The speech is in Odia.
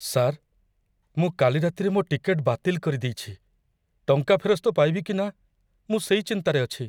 ସାର୍, ମୁଁ କାଲି ରାତିରେ ମୋ ଟିକେଟ୍ ବାତିଲ କରିଦେଇଛି । ଟଙ୍କା ଫେରସ୍ତ ପାଇବି କି ନା, ମୁଁ ସେଇ ଚିନ୍ତାରେ ଅଛି।